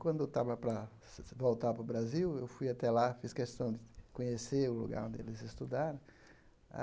Quando eu estava para voltar para o Brasil, eu fui até lá, fiz questão de conhecer o lugar onde eles estudaram.